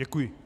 Děkuji.